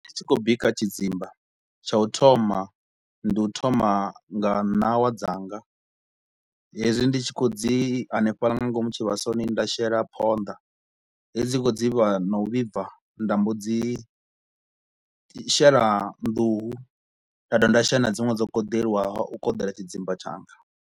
Tshi khou bika tshidzimba tsha u thoma ndi u thoma nga ṋawa dzanga hezwi ndi tshi kho u dzi hanefhaḽa nga ngomu tshivhasoni nda shela phonḓa he dzi dzi kho u dzivha na u vhibva nda mbo dzi shela nḓuhu nda dovha nda shela na dziṅwe dzo koḓeliwaho u koḓela tshidzimba tshanga